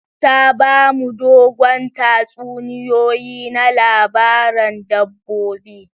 Ta ba mu dogon tatsuniyoyi na labaran dabbobi.